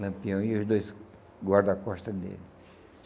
Lampião e os dois guarda-costas dele.